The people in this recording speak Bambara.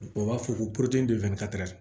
U b'a fɔ ko